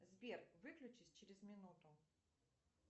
сбер выключись через минуту